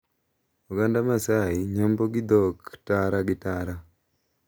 Oganda Maasai nyombo gi dhok tara gi tara.